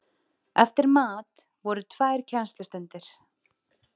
Eftir mat voru tvær kennslustundir.